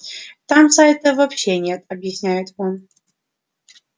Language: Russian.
там сайтов вообще нет объясняет он